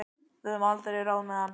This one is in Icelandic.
Við höfum einhver ráð með hann.